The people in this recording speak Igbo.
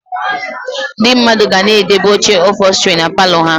Ndị mmadụ ga na-edobe oche ụphọlstri na palọ ha